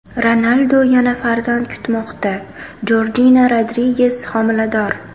Ronaldu yana farzand kutmoqda: Jorjina Rodriges homilador.